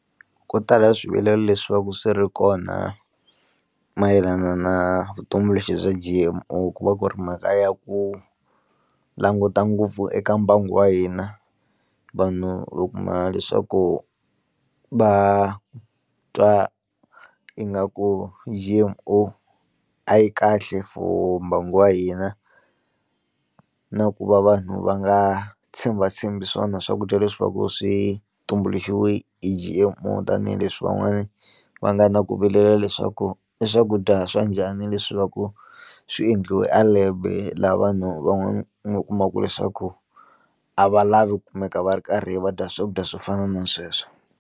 Ko tala swivilelo leswi va ka swi ri kona mayelana na vutumbuluxi bya G_M_O ku va ku ri mhaka ya ku languta ngopfu eka mbangu wa hina, vanhu u kuma leswaku va twa ingaku G_M_O a yi kahle for mbangu wa hina na ku va vanhu va nga tshembatshembi swona swakudya leswaku swi tumbuluxiwe G_M_O, tanihileswi van'wani va nga na ku vilela leswaku i swakudya swa njhani leswi va ku swi endliwe a lab laha vanhu va nga kumaka leswaku a va lavi ku kumeka va ri karhi va dya swakudya swo fana na sweswo.